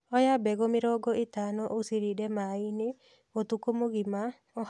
Oya mbegũ mĩrongo ĩtano ũcirinde maĩĩini ũtukũ mũgima, oha na nguo hũthũ ya mbamba